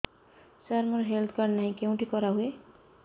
ସାର ମୋର health card ନାହିଁ କେଉଁଠି କରା ହୁଏ